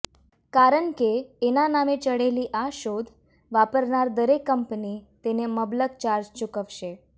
કારણ કે એના નામે ચઢેલી આ શોધ વાપરનાર દરેક કંપની તેને મબલક ચાર્જ ચૂકવશે